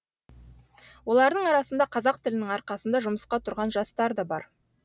олардың арасында қазақ тілінің арқасында жұмысқа тұрған жастар да бар